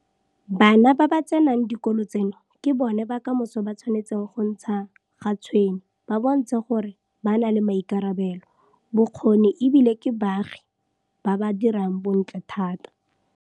Bana ba ba tsenang dikolo tseno ke bona ba kamoso ba tshwanetseng go ntsha ga tshwene ba bontshe gore ba na le maikarabelo, bokgoni e bile ke baagi ba ba dirang bontle thata.